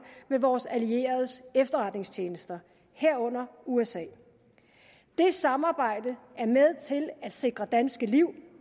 med vores allieredes efterretningstjenester herunder usas det samarbejde er med til at sikre danske liv